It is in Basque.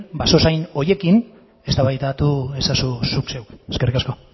basozain horiekin eztabaidatu ezazu zuk zeuk eskerrik asko